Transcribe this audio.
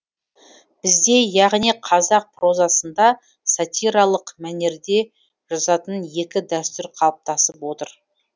бізде яғни қазақ прозасында сатиралық мәнерде жазатын екі дәстүр қалыптасып отыр